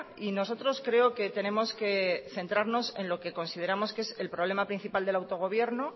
y nosotros creo que tenemos que centrarnos en lo que consideramos que es el problema principal del autogobierno